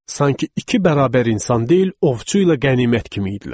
Sanki iki bərabər insan deyil, ovçu ilə qənimət kimi idilər.